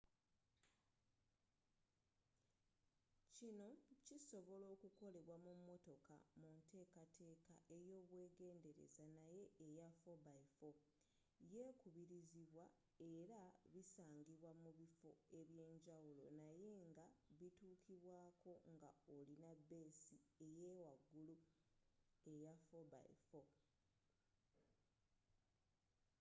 kinno kisobola okukolebwa mu motoka munteekateeka eyobwegendereza naye eya 4x4 yekubirizibwa era bisangibwa mubiffo ebyenjawulo naye nga bituukibwaako nga olina beesi eyawagulu eya 4x4